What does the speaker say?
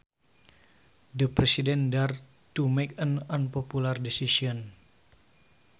The President dared to make an unpopular decision